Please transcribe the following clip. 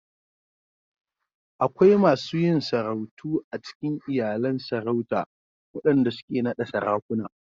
Akwai masu yin sarautu a cikin iyalan Sarauta waɗanda suke naɗa Sarakuna.